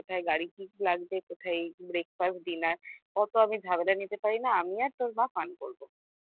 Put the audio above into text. কোথায় গাড়ি কি লাগবে কোথায় breakfast dinner অত আমি ঝামেলা নিতে পারি না আমি আর তোর মা fun করে